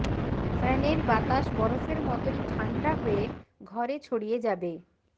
ফ্যানের বাতাস বরফের মতোই ঠান্ডা হয়ে ঘরে ছড়িয়ে যাবে